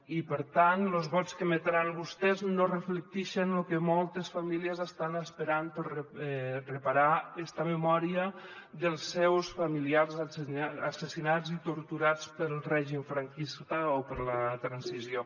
i per tant los vots que emetran vostès no reflectixen lo que moltes famílies estan esperant per reparar esta memòria dels seus familiars assassinats i torturats pel règim franquista o per la transició